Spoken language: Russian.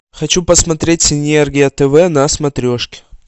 хочу посмотреть синергия тв на смотрешке